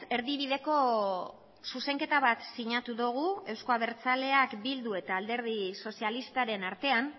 erdibideko zuzenketa bat sinatu dugu euzko abertzaleak bildu eta alderdi sozialistaren artean